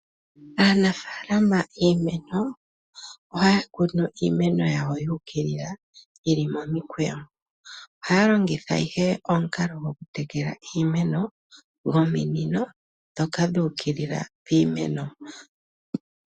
Aanafaalama yiimeno ohaya kunu iimeno yawo yuukilila yili momikweyo. Ohaya longitha ihe omukalo gokutekela iimeno, gominino ndhoka dhuukilila piimeno.